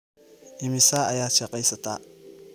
Imisa ayaad shaqaysataa?